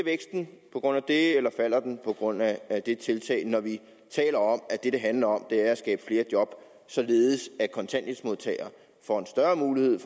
på grund af det eller falder på grund af det tiltag når vi taler om at det det handler om er at skabe flere job således at kontanthjælpsmodtagere får en større mulighed